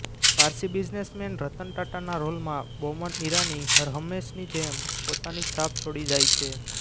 Parsi businessman Ratan ટાટાના રોલમાં બોમન ઇરાની હરહંમેશની જેમ પોતાની છાપ છોડી જાય છે